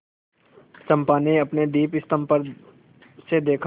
चंपा ने अपने दीपस्तंभ पर से देखा